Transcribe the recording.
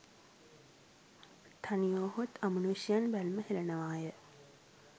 තනිවුවහොත් අමනුෂ්‍යයන් බැල්ම හෙළනවාය